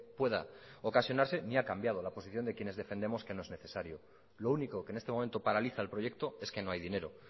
pueda ocasionarse ni ha cambiado la posición de quienes defendemos que no es necesario lo único que en este momento paraliza el proyecto es que no hay dinero